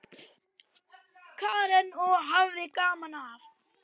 Karen: Og hafði gaman af?